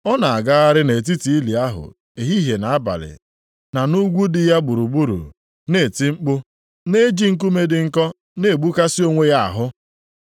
Ọ na-agagharị nʼetiti ili ahụ ehihie na abalị na nʼugwu dị ya gburugburu, na-eti mkpu, na-eji nkume dị nkọ na-egbukasị onwe ya ahụ.